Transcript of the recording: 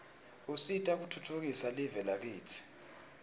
usita kutfutfukisa live lakitsi